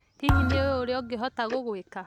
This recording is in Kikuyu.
Hihi nĩ ũĩ ũrĩa ingĩhota gũgwĩka?